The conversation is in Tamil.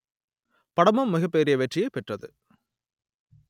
படமும் மிகப்பெரிய வெற்றியை பெற்றது